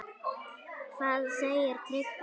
Hvað segir Tryggvi?